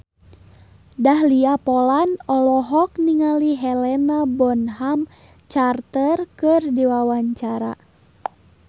Dahlia Poland olohok ningali Helena Bonham Carter keur diwawancara